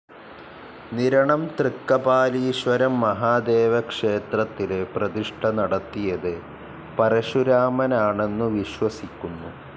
നിരണം തൃക്കപാലീശ്വരം മഹാദേവക്ഷേത്രത്തിലെ പ്രതിഷ്ഠ നടത്തിയത് പരശുരാമനാണന്നു വിശ്വസിക്കുന്നു.